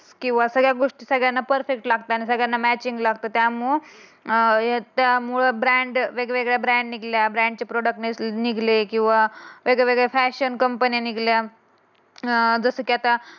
किंवा सगळ्या गोष्टी सगळ्यांना परफेक्ट लागत आणि सगळ्यांना मॅचिंग लागते. त्यामुळे अं ब्रँड ब्रँड वेगवेगळ्या निघल्या ब्रँडचे प्रॉडक्ट निघाले किंवा वेगळ्यावेगळ्या फॅशन कंपन्या निघल्या. अं जस की आता